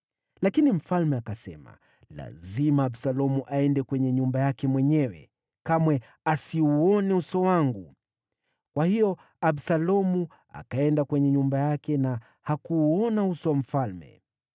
Lakini mfalme akasema, “Lazima Absalomu aende kwenye nyumba yake mwenyewe; kamwe asiuone uso wangu.” Kwa hiyo Absalomu akaenda kwenye nyumba yake na hakuuona uso wa mfalme.